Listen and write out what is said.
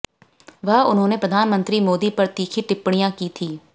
वह उन्होंने प्रधानमंत्री मोदी पर तीखी टिप्पणियां की थीं